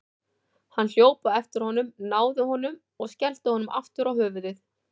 Hann hljóp á eftir honum, náði honum og skellti honum aftur á höfuðið.